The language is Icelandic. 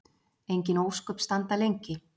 Engin ósköp standa lengi.